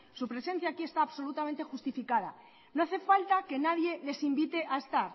su presencia aquí está absolutamente justificada no hace falta que nadie les invite a estar